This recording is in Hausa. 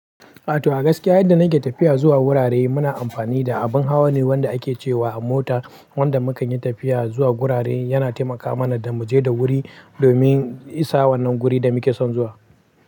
A to, a gaskiya idan na ke tafiya zuwa wurare, muna amfani da abin hawa ne wanda ake ce wa mota. Wanda mu kan yi tafiya zuwa gurare, yana taimaka mana da mu je da wuri domin isa wannan guri da muke son zuwa.